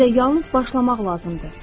Sizə yalnız başlamaq lazımdır.